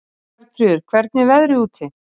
Bjarnfríður, hvernig er veðrið úti?